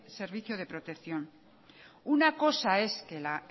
servicio de protección una cosa es que la